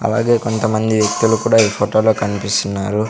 అలాగే కొంతమంది వ్యక్తులు కూడా ఈ ఫొటో లో కన్పిస్తున్నారు.